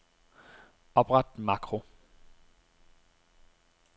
Opret makro.